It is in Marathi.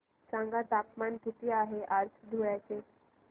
सांगा तापमान किती आहे आज धुळ्याचे